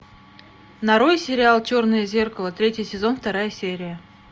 нарой сериал черное зеркало третий сезон вторая серия